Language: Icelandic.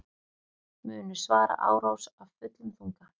Munu svara árás af fullum þunga